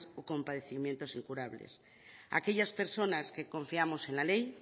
o con padecimientos incurables aquellas personas que confiamos en la ley